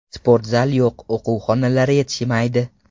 Sportzal yo‘q, o‘quv xonalari yetishmaydi.